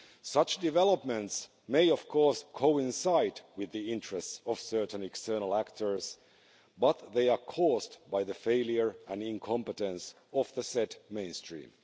Such developments may, of course, coincide with the interests of certain external actors, but they are caused by the failure and incompetence of the set mainstream.